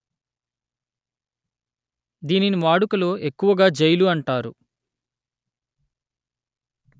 దీనిని వాడుకలో ఎక్కువగా జైలు అంటారు